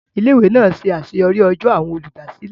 Ilé ìwé náà ṣe àṣeyọrí ọjọ́ àwọn olùdásílẹ̀